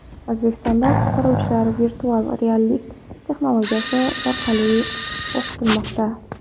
O‘zbekistonda qutqaruvchilar virtual reallik texnologiyasi orqali o‘qitilmoqda.